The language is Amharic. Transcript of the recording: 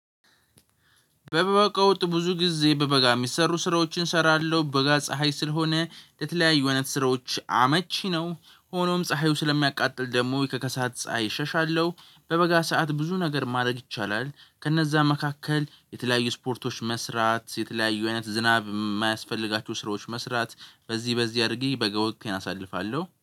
በበጋ ወቅት ብዙ ጊዜ በበጋ የሚሰሩ ስራዎችን እሰራለሁ በጋ ፀሀይ ስለሆነ ለተለያዩ አይነት ስራዎች አመቺ ነው። ሆኖም ፀሀዩ ስለሚያቃጥል ደግሞ የከከሳት ፀሀይ እሸሻለሁ። በበጋ ሰዓት ብዙ ነገር ማድረግ ይቻላል ከነዛ መካከል የተለያዩ ስፖርቶች መስራት የተለያዩ አይነት ዝናብ የማያስፈልጋችሁ ስራዎች መስራት። በዚህ በዚህ አድርጌ በጋ ወቅቴን አሳልፋለሁ